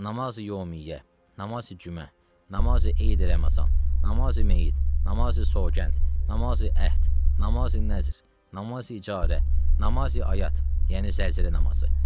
Namazi yə, namazı cümə, namazı Eidil Ramazan, namazı meyit, namazı sovqənd, namazı əhd, namazı nəzr, namazı icarə, namazı ayət, yəni zəlzələ namazı.